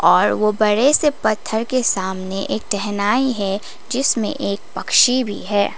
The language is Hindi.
और वो बड़े से पत्थर के सामने एक टहनाई है जिसमें एक पक्षी भी है।